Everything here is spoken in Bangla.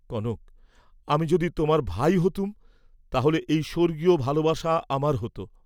কনক আমি যদি তোমার ভাই হতুম তা হ'লে এই স্বর্গীয় ভালবাসা আমার হ’ত!